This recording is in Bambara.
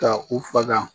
Ka u faga